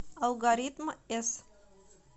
алгоритм с